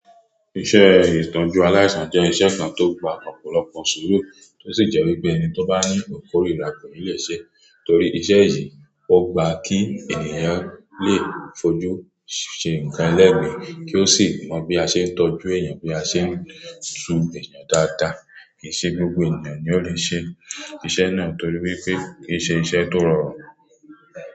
Iṣẹ́ ìtọ́jú aláìsàn jẹ́ iṣẹ́ kan tó gba ọ̀pọ̀lọpọ̀ sùúrù, tí ó sì jẹ́ wípé ẹni tó bá ní ìkórìíra koni lè ṣe é. Torí iṣẹ́ yìí, ó gba kí ènìyàn lè fojú ṣe nǹkan ẹlẹ́gbin kí ó sì mọ bí a ṣe ń tọ́jú èèyàn, bí a ṣe ń tú èèyàn dáadáa. Kì í ṣe gbogbo ènìyàn ni ó le ṣe iṣẹ́ náà torí wípé kì í ṣe iṣẹ́ tó rọrùn.